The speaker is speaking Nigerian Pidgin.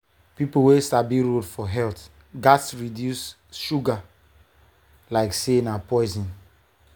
people wey sabi road for health gats reduce sugar like say na poison.